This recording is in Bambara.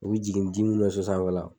U bi jigin ji minnu bɛ so sanfɛla